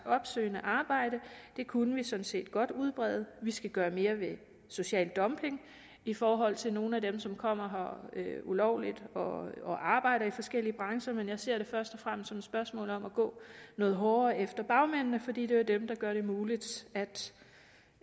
opsøgende arbejde og det kunne vi sådan set godt udbrede vi skal gøre mere ved social dumping i forhold til nogle af dem som kommer her ulovligt og og arbejder i forskellige brancher men jeg ser det først og fremmest som et spørgsmål om at gå noget hårdere efter bagmændene fordi det jo er dem der gør det muligt